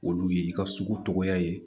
Olu ye i ka sugu tɔgɔ ye